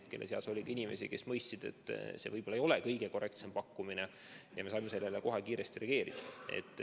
Nende seas oli inimesi, kes mõistsid, et see ei ole kõige korrektsem pakkumine, ja me saime sellele kohe kiiresti reageerida.